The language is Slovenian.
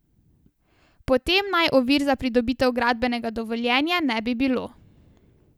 Potem naj ovir za pridobitev gradbenega dovoljenja ne bi bilo.